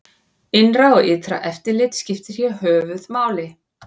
Innra og ytra eftirlit skiptir hér höfuð máli.